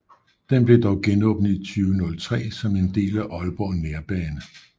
Den blev dog genåbnet i 2003 som en del af Aalborg Nærbane